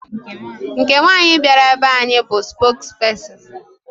Nke nwaanyị bịara be anyị bụ spokesperson.